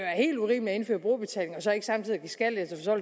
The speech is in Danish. helt urimeligt at indføre brugerbetaling og så ikke samtidig give skattelettelser